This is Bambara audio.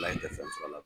Ala ye fɛn sɔrɔ a la